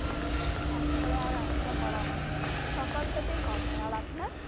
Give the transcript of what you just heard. তারপরে আর এতটা করা হয়না, সকাল টাতেই করা হয়, আর আপনার?